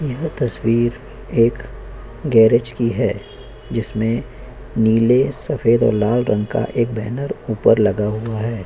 यह तस्वीर एक गैरेज की है जिसमें नीले सफेद और लाल रंग का एक बैनर ऊपर लगा हुआ है।